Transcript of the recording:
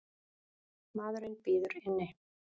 Maðurinn bíður inni.